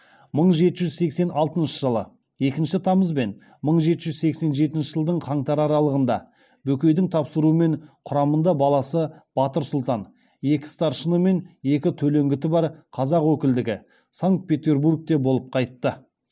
мың жеті жүз сексен алтыншы жылы екінші тамыз бен мың жеті жүз сексен жетінші жылдың қаңтары аралығында бөкейдің тапсыруымен құрамында баласы батыр сұлтан екі старшын мен екі төлеңгіті бар қазақ өкілдігі санкт петербургте болып қайтты